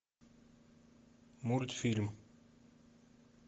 мультфильм